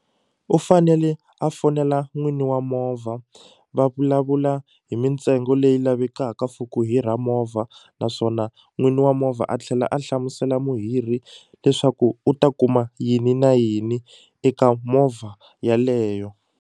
U fanele a fonela n'wini wa movha va vulavula hi mintsengo leyi lavekaka for ku hira movha naswona n'wini wa movha a tlhela a hlamusela muhirhi leswaku u ta kuma yini na yini eka movha yaleyo.